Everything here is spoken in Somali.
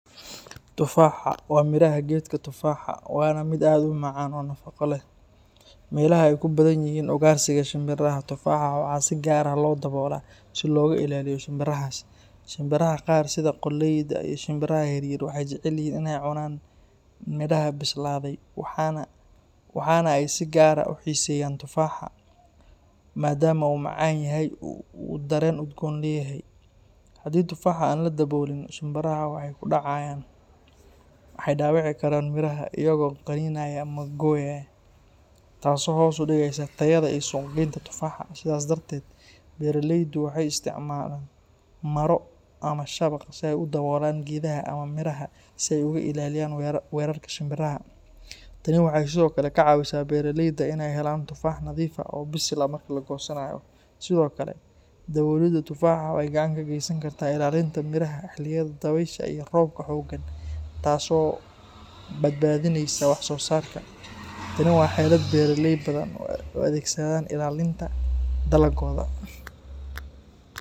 Tufaaxa waa midhaha geedka tufaaxa, waana mid aad u macaan oo nafaqo leh. Meelaha ay ku badan yihiin ugaarsiga shimbiraha, tufaaxa waxaa si gaar ah loo daboolaa si looga ilaaliyo shimbirahaas. Shimbiraha qaar sida qoolleyda iyo shinbiraha yaryar waxay jecel yihiin inay cunaan midhaha bislaaday, waxaana ay si gaar ah u xiiseeyaan tufaaxa, maadaama uu macaan yahay oo uu dareen udgoon leeyahay. Haddii tufaaxa aan la daboolin, shimbiraha waxay ku dhacayaan, waxayna dhaawici karaan midhaha iyaga oo qaniinaya ama gooya, taasoo hoos u dhigaysa tayada iyo suuqgaynta tufaaxa. Sidaas darteed, beeraleydu waxay isticmaalaan maro ama shabaq si ay u daboolaan geedaha ama midhaha si ay uga ilaaliyaan weerarka shimbiraha. Tani waxay sidoo kale ka caawisaa beeraleyda inay helaan tufaax nadiif ah oo bisil marka la goosanayo. Sidoo kale, daboolida tufaaxa waxay gacan ka geysan kartaa ilaalinta midhaha xilliyada dabaysha iyo roobka xooggan, taas oo badbaadinaysa wax-soosaarka. Tani waa xeelad beeraley badan u adeegsadaan ilaalinta dalaggooda.